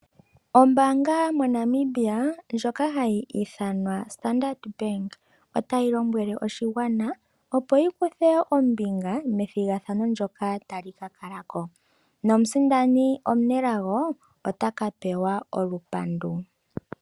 Ombaanga moNamibia ndjoka hayi ithanwa Standard bank, otayi tseyi thile oshigwana, opo shi kuthe ombinga methigathano ndjoka tali ka kalako. Nomusindani omunelago, otaka pewa olupandu.